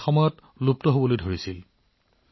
কিন্তু সাগৰ মুলেজীয়ে এই কলাত নতুন জীৱন প্ৰদান কৰিছে